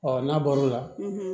Ɔ n'a bɔr'o la